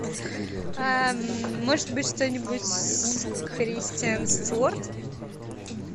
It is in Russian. может быть что нибудь с кристиан стюарт